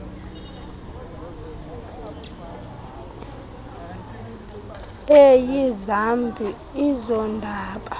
eyi zambi ezondaba